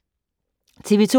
TV 2